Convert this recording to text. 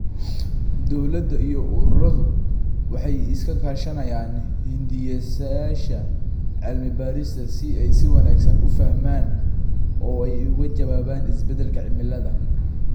Dawladaha iyo ururadu waxay iska kaashanayaan hindisayaasha cilmi-baarista si ay si wanaagsan u fahmaan oo ay uga jawaabaan isbeddelka cimilada.